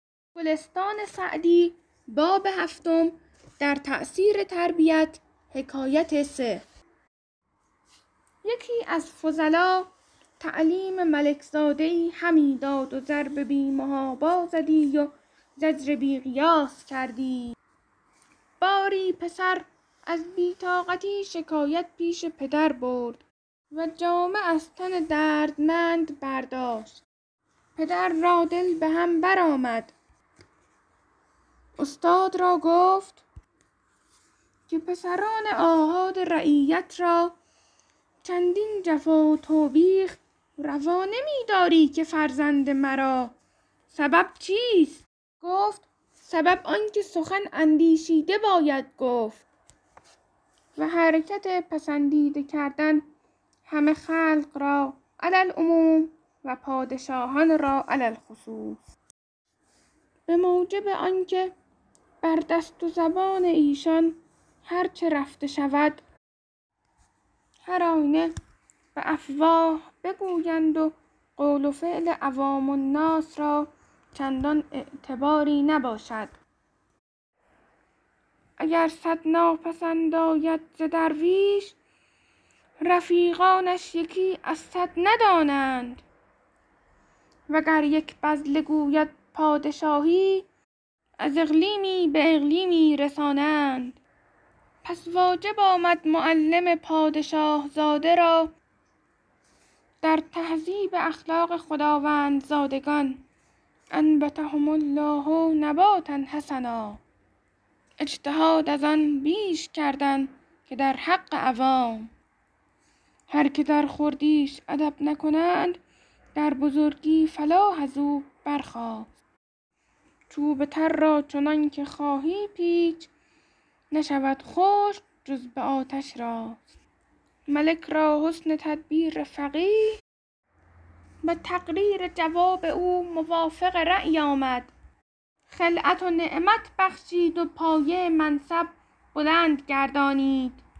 یکی از فضلا تعلیم ملک زاده ای همی داد و ضرب بی محابا زدی و زجر بی قیاس کردی باری پسر از بی طاقتی شکایت پیش پدر برد و جامه از تن دردمند برداشت پدر را دل به هم بر آمد استاد را گفت که پسران آحاد رعیت را چندین جفا و توبیخ روا نمی داری که فرزند مرا سبب چیست گفت سبب آن که سخن اندیشیده باید گفت و حرکت پسندیده کردن همه خلق را علی العموم و پادشاهان را علی الخصوص به موجب آنکه بر دست و زبان ایشان هر چه رفته شود هر آینه به افواه بگویند و قول و فعل عوام الناس را چندان اعتباری نباشد اگر صد ناپسند آید ز درویش رفیقانش یکی از صد ندانند وگر یک بذله گوید پادشاهی از اقلیمی به اقلیمی رسانند پس واجب آمد معلم پادشه زاده را در تهذیب اخلاق خداوندزادگان أنبتهم الله نباتا حسنا اجتهاد از آن بیش کردن که در حق عوام هر که در خردیش ادب نکنند در بزرگی فلاح از او برخاست چوب تر را چنان که خواهی پیچ نشود خشک جز به آتش راست ملک را حسن تدبیر فقیه و تقریر جواب او موافق رای آمد خلعت و نعمت بخشید و پایه منصب بلند گردانید